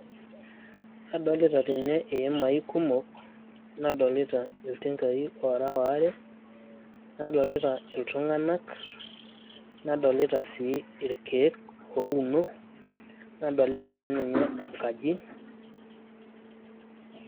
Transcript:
adolita tene iimai kumok, nadolita iltunganak, nadolita sii irkek ouno, nadolita sii ninye enkaji.